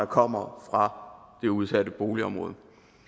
kommer fra det udsatte boligområde